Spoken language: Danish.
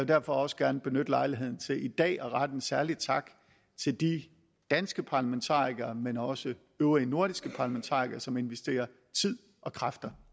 derfor også gerne benytte lejligheden til i dag at rette en særlig tak til de danske parlamentarikere men også til øvrige nordiske parlamentarikere som investerer tid og kræfter